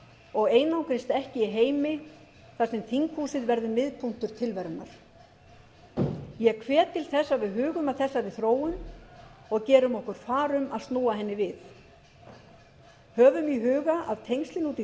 og einangrist ekki í heimi þar sem þinghúsið verður miðpunktur tilverunnar ég hvet til þess að við hugum að þessari þróun og gerum okkur far um að snúa henni við höfum í huga að tengslin út í